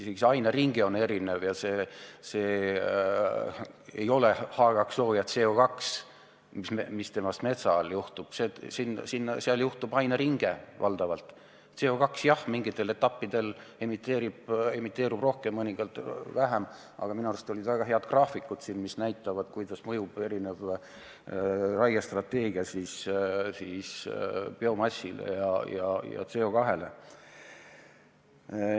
Isegi aineringed on erinevad, CO2 jah mingitel etappidel emiteerub rohkem, mingitel vähem, aga minu arust meile näidati siin väga häid graafikuid, kuidas mõjub erinev raiestrateegia biomassile ja CO2 emiteerimisele.